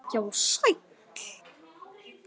Já, sæll.